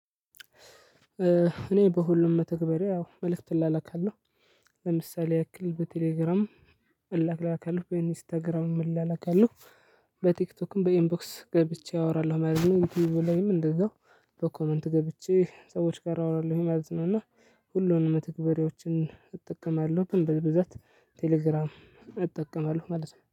እኔ በሁሉም መተግበሪያ ያው መልእክት እላላካለሁ። ለምሳሌ ያክል በቴሌግራም እላላካለሁ በኢንስታግራም እላላካለሁ። በቲክቶክም በኢንቦክስ ገብቼ አወራለሁ ማለት ነው ዩቲዩብ ላይም እንደዛው በኮመንት ገብቼ ሰዎች ጋር አወራለሁኝ ማለት ነው። እና ሁሉንም መተግበሪያዎችን እጠቀማለሁ ግን በብዛት ቴሌግራም እጠቀማለሁ። ማለት ነው